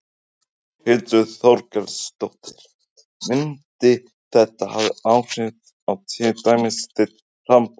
Þórhildur Þorkelsdóttir: Myndi þetta hafa áhrif á til dæmis þitt framboð?